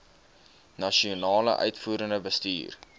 nasionale uitvoerende bestuur